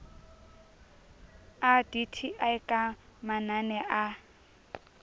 a dti ka manane a